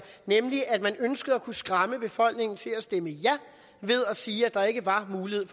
nemlig at man ønskede at kunne skræmme befolkningen til at stemme ja ved at sige at der ikke var mulighed